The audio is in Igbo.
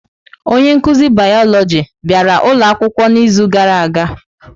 Onye nkuzi Bioloji bịara ụlọ akwụkwọ n'izu gara aga?